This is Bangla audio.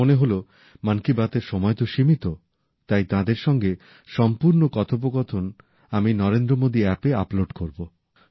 আমার মনে হল মন কি বাতএর তো সময় সীমিত তাই তাঁদের সঙ্গে সম্পূর্ণ কথোপকথন আমি নরেন্দ্র মোদি অ্যাপে আপলোড করব